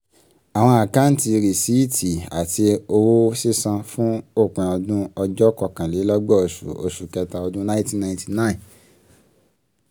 àwọn akántí rìsíìtì àti owó sísan fún òpin ọdún òjó kọkànlélọ́gbọ̀n oṣù oṣù kẹ́ta ọdún inety ninety nine